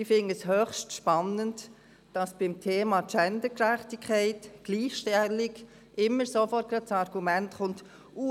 Ich finde es höchst spannend, dass beim Thema Gendergerechtigkeit, Gleichstellung immer sofort das Argument kommt: